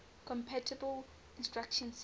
compatible instruction set